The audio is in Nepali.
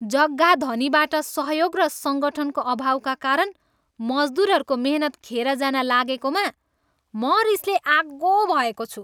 जग्गाधनीबाट सहयोग र सङ्गठनको अभावका कारण मजदुरहरूको मेहनत खेर जान लागेकोमा म रिसले आगो भएको छु।